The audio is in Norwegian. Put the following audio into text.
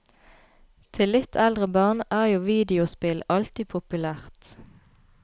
Til litt eldre barn er jo videospill alltid populært.